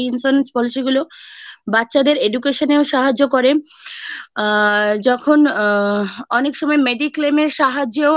এই insurance policy গুলো বাচ্চাদের education এও সাহায্য করে আ যখন আ অনেক সময় mediclaim এর সাহায্য এও